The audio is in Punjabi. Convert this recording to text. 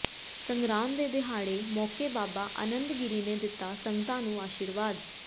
ਸੰਗਰਾਂਦ ਦੇ ਦਿਹਾੜੇ ਮੌਕੇ ਬਾਬਾ ਆਨੰਦਗਿਰੀ ਨੇ ਦਿੱਤਾ ਸੰਗਤਾਂ ਨੂੰ ਅਸ਼ਰੀਵਾਦ